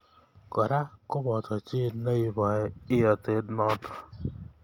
Kora koboto chi neiboi iyotet notok.